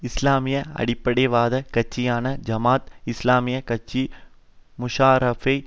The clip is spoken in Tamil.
இஸ்லாமிய அடிப்படைவாத கட்சியான ஜமாத் இஸ்லாமிய கட்சி முஷாராபை